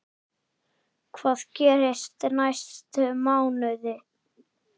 Hvað gerist næstu mánuði?